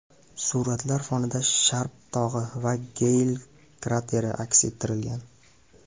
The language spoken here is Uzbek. Suratlar fonida Sharp tog‘i va Geyl krateri aks ettirilgan.